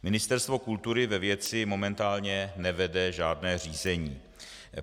Ministerstvo kultury ve věci momentálně nevede žádné řízení.